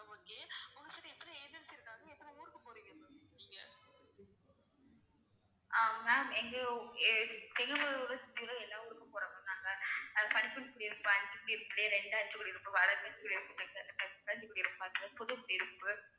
ஆஹ் ma'am எங்கயோ~ ஏ~ தெரிஞ்ச ஊரு தெரி~ எல்லா ஊருக்கும் போறோம் ma'am நாங்க